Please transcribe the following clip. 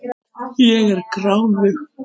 Ég er gráðug.